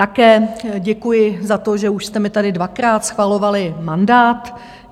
Také děkuji za to, že už jste mi tady dvakrát schvalovali mandát.